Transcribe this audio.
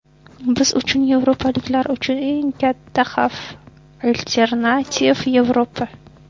Biz uchun, yevropaliklar uchun eng katta xavf alternativ Yevropa.